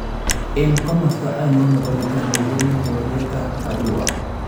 Eng komosto ainon nebo uganda yemi bororyetab Arua ?